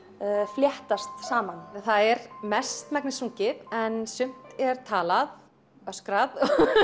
fléttast saman það er mestmegnis sungið en sumt er talað öskrað